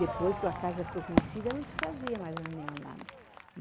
Depois que a casa ficou conhecida, não se fazia mais reunião lá.